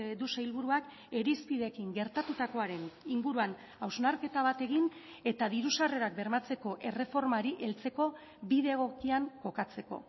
du sailburuak irizpideekin gertatutakoaren inguruan hausnarketa bat egin eta diru sarrerak bermatzeko erreformari heltzeko bide egokian kokatzeko